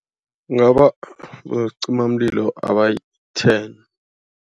Bosicimamlilo abayi-ten.